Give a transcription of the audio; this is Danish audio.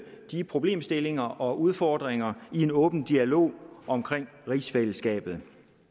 de problemstillinger og udfordringer i en åben dialog om rigsfællesskabet